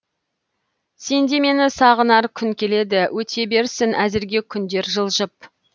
сенде мені сағынар күн келеді өте берсін әзірге күндер жылжып